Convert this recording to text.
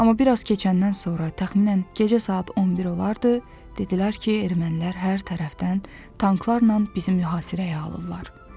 Amma bir az keçəndən sonra təxminən gecə saat 11 olardı, dedilər ki, ermənilər hər tərəfdən tanklarla bizi mühasirəyə alırlar.